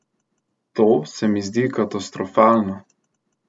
To se mi zdi katastrofalno.